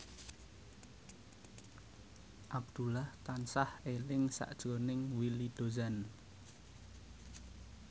Abdullah tansah eling sakjroning Willy Dozan